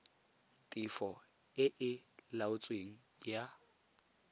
tefo e e laotsweng ya